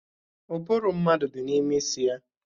Ụbụrụ mmadụ dị n'ime isi ya.